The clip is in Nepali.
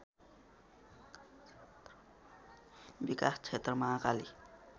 विकास क्षेत्र महाकाली